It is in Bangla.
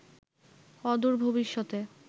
অদূর ভবিষ্যতে